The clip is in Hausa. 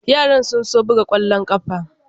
Yaran sun so su buga kwallon kafa.